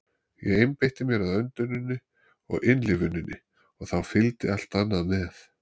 Ég einbeitti mér að önduninni og innlifuninni og þá fylgdi allt annað með.